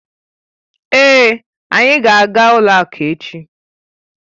Èé, anyị ga aga ụlọ akụ echi